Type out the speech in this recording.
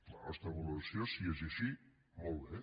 la nostra valoració si és així molt bé